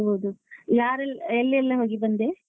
ಹೌದು ಯಾರೆಲ್ಲ ಎಲ್ಲೆಲ್ಲಾ ಹೋಗಿ ಬಂದೆ?